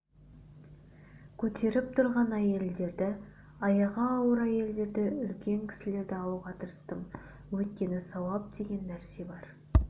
көтеріп тұрған әйелдерді аяғы ауыр әйелдерді үлкен кісілерді алуға тырыстым өйткені сауап деген нәрсе бар